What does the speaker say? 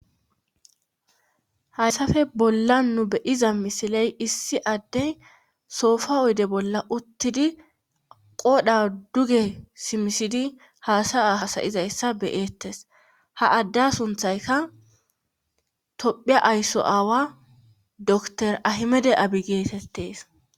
haysafe bolla nu beyiza misiley issi addey soofa oyde bolla uttidi qoodha duge simisidi haasaya hasayizayssa beyettes ha adda sunthayka tophiya aysso aawa dokiter ahimede abi geetettees